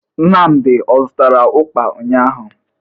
Nnamdị ọ zụtara ụkpa ụnyaahụ?